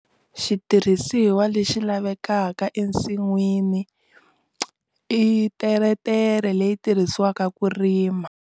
Xitirhisiwa lexi lavekaka ensinwini i teretere leyi tirhisiwaka ku rima.